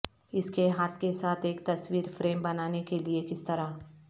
اس کے ہاتھ کے ساتھ ایک تصویر فریم بنانے کے لئے کس طرح